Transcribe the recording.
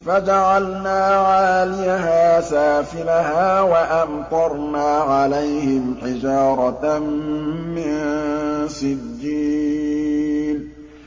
فَجَعَلْنَا عَالِيَهَا سَافِلَهَا وَأَمْطَرْنَا عَلَيْهِمْ حِجَارَةً مِّن سِجِّيلٍ